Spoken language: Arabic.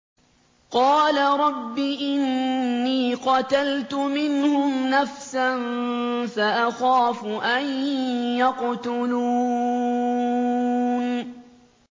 قَالَ رَبِّ إِنِّي قَتَلْتُ مِنْهُمْ نَفْسًا فَأَخَافُ أَن يَقْتُلُونِ